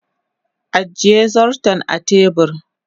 ajiye zarton a tebur